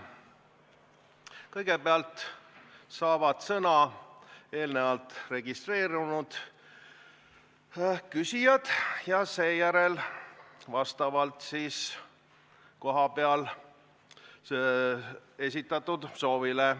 Kõigepealt saavad sõna eelnevalt registreerunud küsijad ja seejärel saavad Riigikogu liikmed sõna vastavalt kohapeal esitatud soovile.